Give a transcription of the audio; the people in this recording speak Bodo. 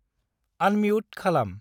आनम्युट खालाम।